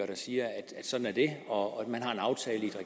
der siger at sådan er det og at man har en aftale i